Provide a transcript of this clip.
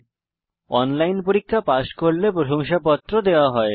যারা অনলাইন পরীক্ষা পাস করে তাদের প্রশংসাপত্র দেয়